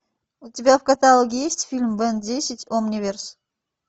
у тебя в каталоге есть фильм бен десять омниверс